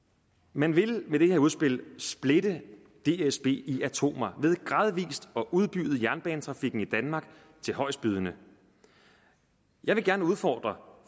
man vil med det her udspil splitte dsb i atomer ved gradvis at udbyde jernbanetrafikken i danmark til højestbydende jeg vil gerne opfordre